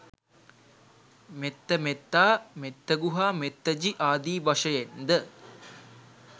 මෙත්ත, මෙත්තා, මෙත්තගු හා මෙත්තජි ආදී වශයෙන් ද